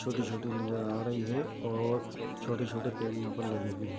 छोटी-छोटी नज़र आ रही है और छोटे-छोटे पेड़ यहाँ पर लगे हुए हैं।